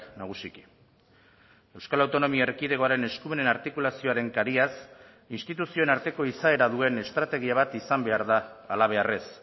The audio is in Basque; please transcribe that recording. nagusiki euskal autonomia erkidegoaren eskumenen artikulazioaren kariaz instituzioen arteko izaera duen estrategia bat izan behar da halabeharrez